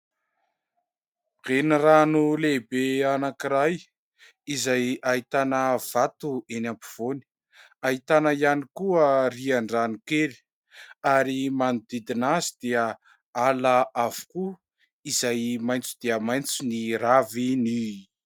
Renirano lehibe anankiray izay ahitana vato eny ampovoany, ahitana ihany koa rihan-drano kely ary manodidina azy dia ala avokoa izay maitso dia maitso ny raviny.